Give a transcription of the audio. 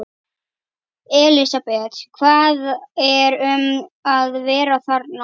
Elísabet, hvað er um að vera þarna?